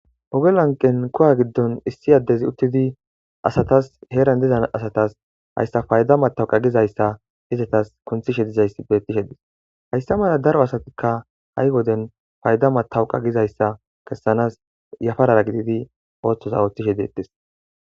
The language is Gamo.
Oge lanqen kuwa gidon issi adezi utidi heran diza asatas fayda matawaqa gizaysa izetas kunthishe dizaysa beses haysa mala daro asati fayda matawaqa gizaysa kesanas yafarara oothoza oothishe detes